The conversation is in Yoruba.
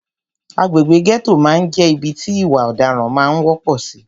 Agbègbè gẹ́tò máà ń jẹ́ ibi tí ìwà ọ̀daran máà ń wọ́pọ̀ sì.